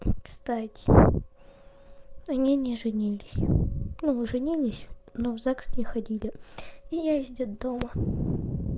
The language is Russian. кстати они не женились ну женились но в загс не ходили и я из детдома